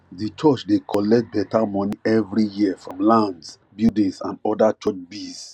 the church dey collect better money every year from lands buildings and other church biz